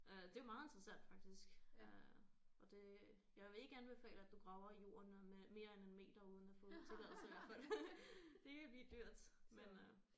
Øh det er meget interessant faktisk øh og det jeg vil ikke anbefale at du graver i jorden øh mere end en meter uden at få tilladelse i hvert fald. Det kan blive dyrt men øh